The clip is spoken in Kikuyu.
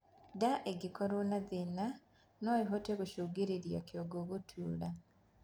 Ndaa ĩngĩkorwo na thina noĩhote gũcũngĩrĩrĩa kĩongo gutuura